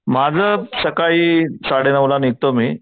माझं सकाळी साडेनऊ ला निघतो मी